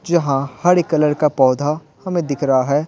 जहां हरे कलर का पौधा हमें दिख रहा है।